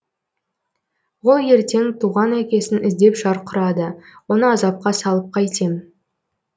ол ертең туған әкесін іздеп шарқ ұрады оны азапқа салып қайтем